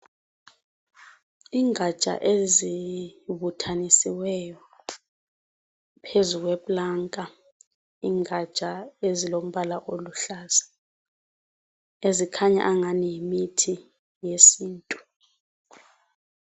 Ingatsha ezibuthanisiweyo phezu kweplanka, ingatsha ezilombala oluhlaza, ezikhanya angani yimithi yesintu.